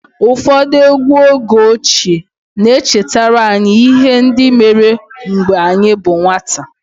Ụfọdụ egwú oge ochie na-echetara anyị ihe ndị mere mgbe anyị bụ nwata